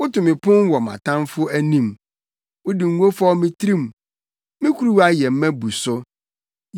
Woto me pon wɔ mʼatamfo anim. Wode ngo fɔw me tirim; me kuruwa yɛ ma bu so.